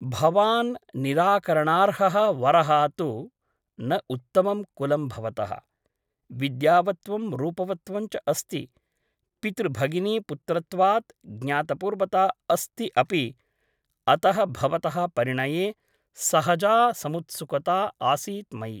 भवान् निराकरणार्हः वरः तु न उत्तमं कुलं भवतः । विद्यावत्त्वं रूपवत्त्वं च अस्ति । पितृभगिनीपुत्रत्वात् ज्ञातपूर्वता अस्ति अपि । अतः भवतः परिणये सहजा समुत्सुकता आसीत् मयि ।